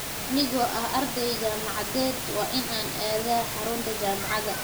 Anigoo ah arday jaamacadeed, waa inaan aadaa xarunta jaamacadda.